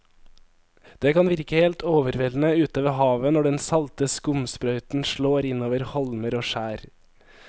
Det kan virke helt overveldende ute ved havet når den salte skumsprøyten slår innover holmer og skjær.